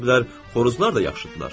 Ola bilər xoruzlar da yaxşıdırlar.